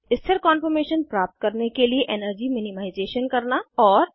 स्थिर कॉन्फॉर्मेशन प्राप्त करने के लिए एनर्जी मिनिमाइज़ेशन करना